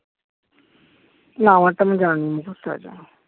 না আমারটা আমার জানি মুখস্ত আছে